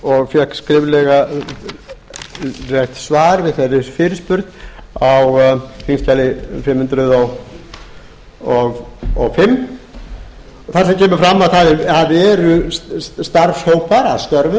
og fékk skriflegt svar við þeirri fyrirspurn á þingskjali fimm hundruð og fimm þar sem kemur fram að það eru starfshópar að störfum